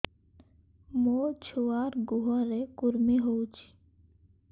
ମୋ ଛୁଆର୍ ଗୁହରେ କୁର୍ମି ହଉଚି